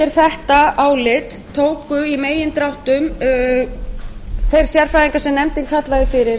undir þetta álit tóku í megindráttum þeir sérfræðingar sem nefndin kallaði fyrir